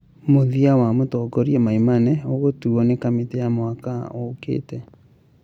Mũthia wa Mũtongoria Maimane' ũgũtuo nĩ kamĩtĩ ya kĩama kĩa mwaka ũkĩte